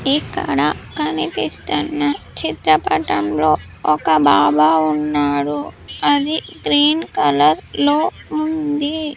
ఇక్కడ కనిపిస్తున్న చిత్రపటంలోఒక బాబా ఉన్నారు అది గ్రీన్ కలర్ లో ఉంది.